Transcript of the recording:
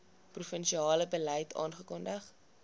provinsiale beleid afgekondig